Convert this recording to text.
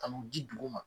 Ka n'u di dugu ma